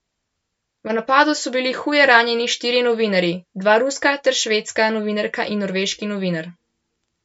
V napadu so bili huje ranjeni štirje novinarji, dva ruska ter švedska novinarka in norveški novinar.